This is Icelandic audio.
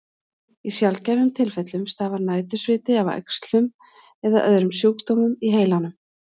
Í sjaldgæfum tilfellum stafar nætursviti af æxlum eða öðrum sjúkdómum í heilanum.